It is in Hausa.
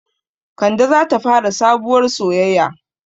Kande zata fara sabuwar soyaya